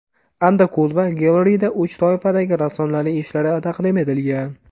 Andakulova Gallery’da uch toifadagi rassomlarning ishlari taqdim etilgan.